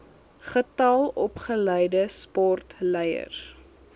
getal opgeleide sportleiers